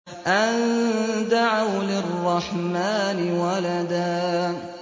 أَن دَعَوْا لِلرَّحْمَٰنِ وَلَدًا